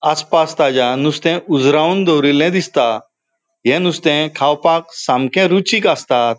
आस पास ताज्या नुस्ते उजरावून दोवरीले दिसता ये नुस्ते खावपाक सामके रुचीक आसता.